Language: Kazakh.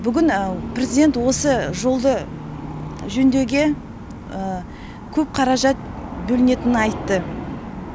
бүгін президент осы жолды жөндеуге көп қаражат бөлінетінін айтты